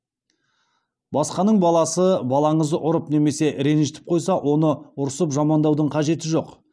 басқаның баласы балаңызды ұрып немесе ренжітіп қойса оны ұрсып жамандаудың қажеті жоқ